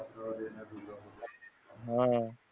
हा